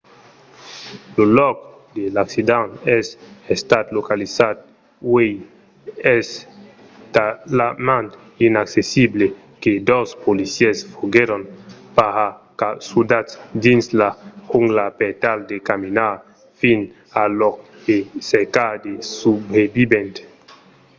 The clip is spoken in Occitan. lo lòc de l'accident es estat localizat uèi e es talament inaccessible que dos policièrs foguèron paracasudats dins la jungla per tal de caminar fins al lòc e i cercar de subrevivents